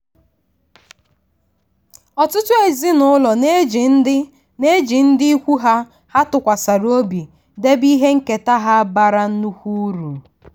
ọtụtụ ezinụlọ na-eji ndị na-eji ndị ikwu ha ha tụkwasịrị obi debe ihe nketa ha bara nnukwu uru.